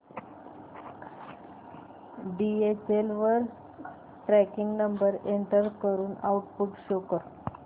DHL वर tracking number enter करून output show कर